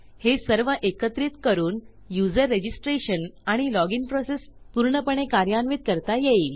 हे सर्व एकत्रित करून यूझर रजिस्ट्रेशन आणि लॉजिन processपूर्णपणे कार्यान्वित करता येईल